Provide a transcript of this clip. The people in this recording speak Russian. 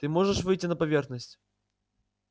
ты можешь выйти на поверхность